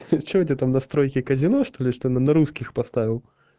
всё что у тебя там настройки казино что-ли что на русских поставил